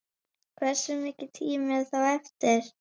HVERSU MIKILL TÍMI ER ÞÓ EFTIR???